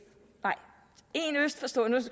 for storebælt